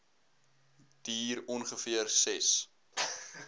duur ongeveer ses